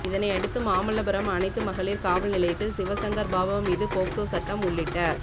இதனையடுத்து மாமல்லபுரம் அனைத்து மகளிர் காவல் நிலையத்தில் சிவசங்கர் பாபா மீது போக்சோ சட்டம் உள்ளிட்ட